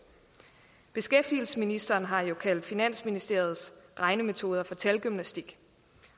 beskæftigelsesministeren har jo kaldt finansministeriets regnemetoder for talgymnastik